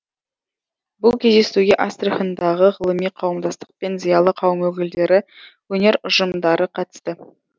бұл кездесуге астрахандағы ғылыми қауымдастық пен зиялы қауым өкілдері өнер ұжымдары қатысты